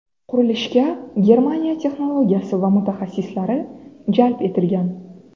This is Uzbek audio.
Qurilishga Germaniya texnologiyasi va mutaxassislari jalb etilgan.